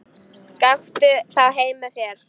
Gakktu þá heim með mér.